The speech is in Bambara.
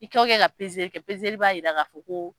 I kɛ o kɛ ka kɛ, b'a yira ka fɔ ko.